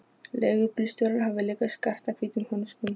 Leigubílstjórinn hafði líka skartað hvítum hönskum.